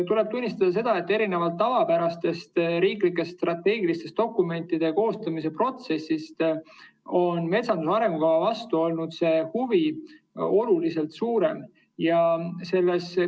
Tuleb tunnistada seda, et erinevalt tavapärasest riiklike strateegiliste dokumentide koostamise protsessist on metsanduse arengukava vastu olnud huvi oluliselt suurem.